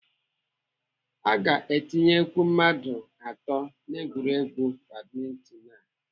Aga etinyekwụ mmadụ atọ n'egwuregwu badminton a.